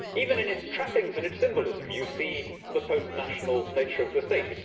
Even in its trappings and its symbolism you see the post national nature of the state.